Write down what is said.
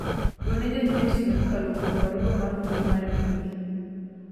gone janyiewo sime kokalo kuom barua mar mbui mar email